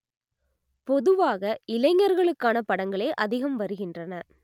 பொதுவாக இளைஞர்களுக்கான படங்களே அதிகம் வருகின்றன